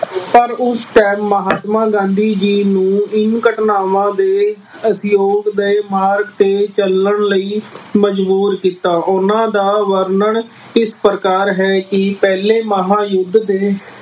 ਪਰ ਉਸ time ਮਹਾਤਮਾ ਗਾਂਧੀ ਜੀ ਨੂੰ ਇਨ ਘਟਨਾਵਾਂ ਦੇ ਦੇ ਮਾਰਗ ਤੇ ਚੱਲਣ ਲਈ ਮਜ਼ਬੂਰ ਕੀਤਾ। ਉਹਨਾ ਦਾ ਵਰਣਨ ਇਸ ਪ੍ਰਕਾਰ ਹੈ ਕਿ ਪਹਿਲੇ ਮਹਾਂਯੁੱਧ ਦੇ